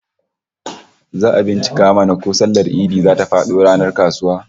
Zaka bincika mana ko sallar Idi zata fado ranar kasuwa?